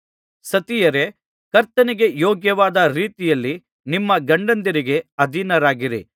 ಸತಿಯರೇ ಕರ್ತನಿಗೆ ಯೋಗ್ಯವಾದ ರೀತಿಯಲ್ಲಿ ನಿಮ್ಮ ಗಂಡಂದಿರಿಗೆ ಅಧೀನರಾಗಿರಿ